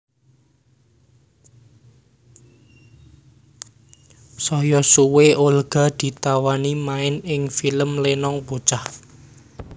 Saya suwe Olga ditawani main ing film Lenong Bocah